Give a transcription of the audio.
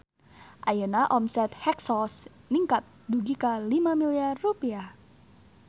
Ayeuna omset Hexos ningkat dugi ka 5 miliar rupiah